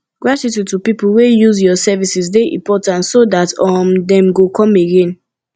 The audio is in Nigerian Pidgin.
gratitude to pipo wey use your services de important so that um dem go come again